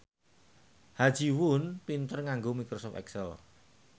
Ha Ji Won pinter nganggo microsoft excel